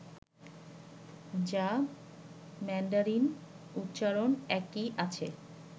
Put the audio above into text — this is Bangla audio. যা ম্যান্ডারিন উচ্চারণ একই আছে